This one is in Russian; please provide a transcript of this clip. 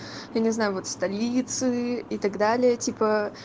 я не знаю вот столицы и так далее типа